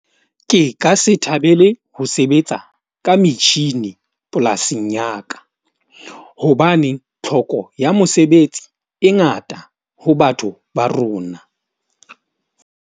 Ke ka se thabele ho sebetsa ka metjhini polasing ya ka. Hobane tlhoko ya mosebetsi e ngata ho batho ba rona.